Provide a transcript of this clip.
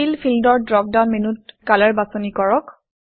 feel fill ফিল্ডৰ drop down মেনুত কলৰ কালাৰ বাছনি কৰক